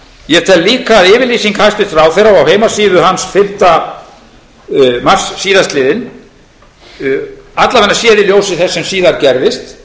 ég tel líka að yfirlýsing hæstvirts ráðherra á heimasíðu hans fimmta mars síðastliðinn alla vega sér í ljósi þess sem síðar gerðist